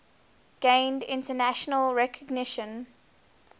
gained international recognition